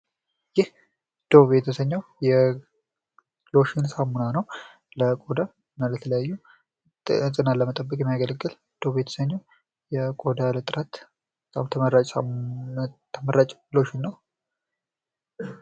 ይህ ዶቭ የተሰኘው የሎሽን ሳሙና ነው። ለቆዳ እና ለተለያዩ ንጽህናን ለመጠበቅ የሚያገለግል ዶቭ የተሰኘው ለቆዳ ጥራት በጣም ተመራጭ ሎሽን ነው።